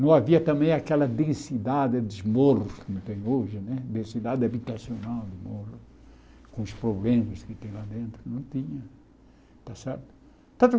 Não havia também aquela densidade dos morros que tem hoje né, densidade habitacional no morro, com os problemas que tem lá dentro, não tinha. Está certo